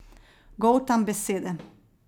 Goltam besede.